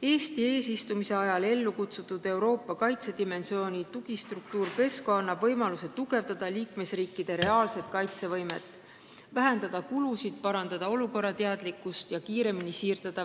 Eesti eesistumise ajal ellu kutsutud Euroopa kaitsedimensiooni tugistruktuur PESCO annab võimaluse tugevdada liikmesriikide reaalset kaitsevõimet, vähendada kulusid, parandada olukorrateadlikkust ja kiiremini vägesid siirdada.